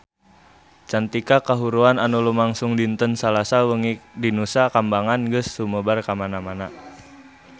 Carita kahuruan anu lumangsung dinten Salasa wengi di Nusa Kambangan geus sumebar kamana-mana